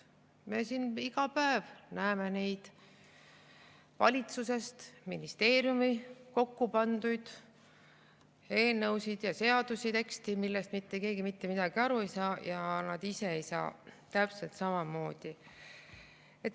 Me siin iga päev näeme neid valitsuses või ministeeriumis kokku pandud eelnõusid ja seadusi, teksti, millest mitte keegi mitte midagi aru ei saa, ja nad ise ei saa täpselt samamoodi aru.